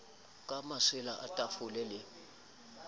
ka masela a tafole le